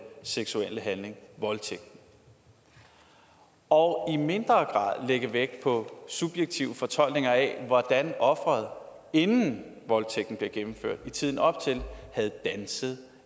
seksuelle handling voldtægten og i mindre grad lægge vægt på subjektive fortolkninger af hvordan offeret inden voldtægten blev gennemført i tiden op til havde danset